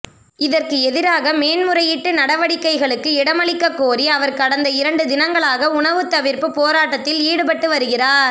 இதற்கு எதிராக மேன்முறையீட்டு நடவடிக்கைகளுக்கு இடமளிக்க கோரி அவர் கடந்த இரண்டு தினங்களாக உணவுத் தவிர்ப்பு போராட்டத்தில் ஈடுபட்டு வருகிறாா்